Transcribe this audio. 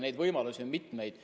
Neid võimalusi on mitmeid.